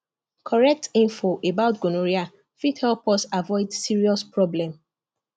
correct info about gonorrhea fit help us avoid serious problem